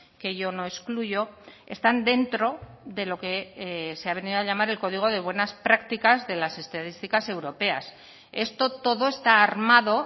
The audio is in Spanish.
que yo no excluyo están dentro de lo que se ha venido a llamar el código de buenas prácticas de las estadísticas europeas esto todo está armado